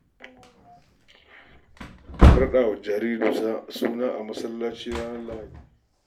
An raɗa wa jariri suna a masallaci da asubar ranar Lahadi.